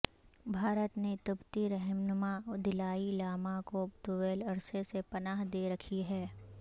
بھارت نے تبتی رہنما دلائی لاما کو طویل عرصے سے پناہ دے رکھی ہے